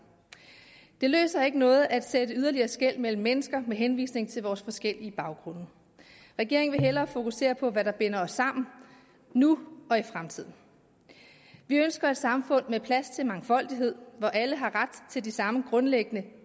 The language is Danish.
det løser ikke noget at sætte yderligere skel mellem mennesker med henvisning til vores forskellige baggrunde regeringen vil hellere fokusere på hvad der binder os sammen nu og i fremtiden vi ønsker et samfund med plads til mangfoldighed hvor alle har de samme grundlæggende